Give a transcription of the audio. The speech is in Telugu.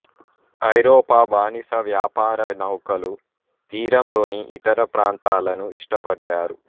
ఐరోపా బానిస వ్యాపార నౌకలు తీరంలోని ఇతర ప్రాంతాలను ఇష్టపడ్డారు